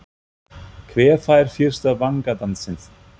Hver fær fyrsta vangadansinn?